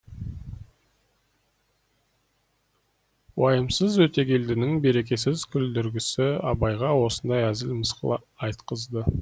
уайымсыз өтегелдінің берекесіз күлдіргісі абайға осындай әзіл мысқыл айтқызды